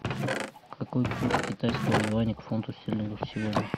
какой курс китайского юаня к фунту стерлингов сегодня